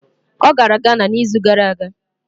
Ọ gara Ghana n'izu gara aga.